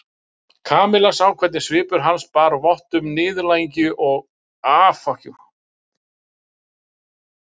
Kamilla sá hvernig svipur hans bar vott um niðurlægingu og uppgjöf.